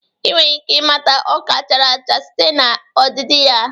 Ị nwere ike ịmata ọka chara acha site na ọdịdị ya